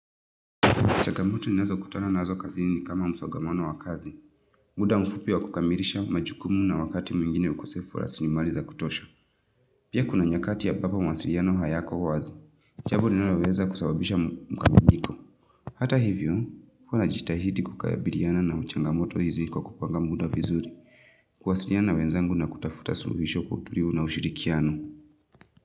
Changamoto ninazokutana nazo kazini ni kama msongamano wa kazi. Muda mfupi wa kukamilisha majukumu na wakati mwingine ukosefu la raslimali za kutosha. Pia kuna nyakati ambapo mawasiliano hayako wazi. Jambo linaloweza kusabibisha mkanganyiko. Hata hivyo, huwa najitahidi kukabiliana na changamoto hizi kupanga muda vizuri. Kuwasiliana wenzangu na kutafuta suluhisho tukiwa na ushirikiano.